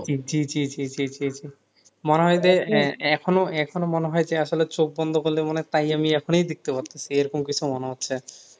জি জি জি জি জি জি মনে হয় যে আহ এখনো এখনো মনে হয় যে আসলে চোখ বন্ধ করলে মনে হয় তাই আমি এখনই দেখতে পারতেছি এরকম কিছু মনে হচ্ছে